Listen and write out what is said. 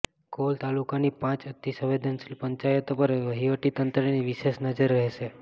call તાલુકાની પાંચ અતિસંવેદનશીલ પંચાયતો પર વહીવટી તંત્રની વિશેષ નજર રહેશે